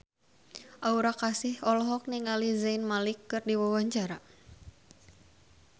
Aura Kasih olohok ningali Zayn Malik keur diwawancara